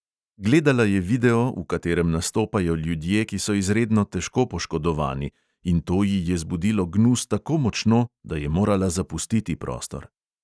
Gledala je video, v katerem nastopajo ljudje, ki so izredno težko poškodovani, in to ji je zbudilo gnus tako močno, da je morala zapustiti prostor.